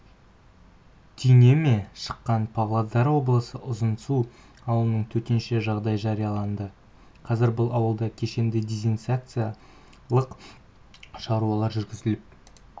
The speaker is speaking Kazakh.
түйнеме шыққан павлодар облысы ұзынсу ауылында төтенше жағдай жарияланды қазір бұл ауылда кешенді дезинсекциялық шаралар жүргізіліп